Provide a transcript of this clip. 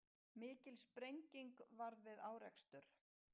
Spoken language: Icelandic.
Mikil sprenging varð við árekstur